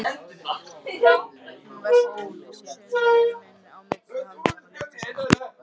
Hún velti krúsinni á milli handanna litla stund.